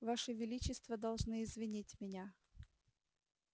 ваше величество должны извинить меня